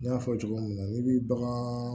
N y'a fɔ cogo min na n'i bi bagan